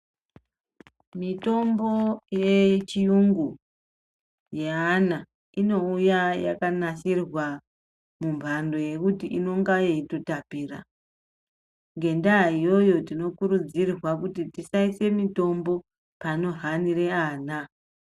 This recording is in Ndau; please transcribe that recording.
Mitombo yechiyungu yeana ,inouya yakanasirwa mumhando yekuti inonga yeitotapira. Ngendaa iyoyo tinokurudzirwa kuti tisaise mitombo pano hanire ana.